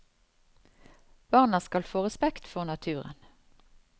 Barna skal få respekt for naturen.